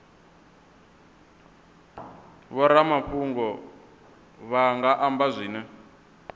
vhoramafhungo vha nga amba zwine